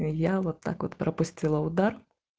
я вот так вот пропустила удар